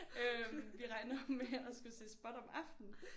Øh vi regner med at skulle se spot om aftenen